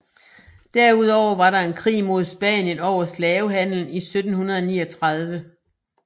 Derudover var der en krig mod Spanien over slavehandelen i 1739